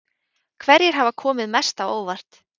Hverjir hafa komið mest á óvart?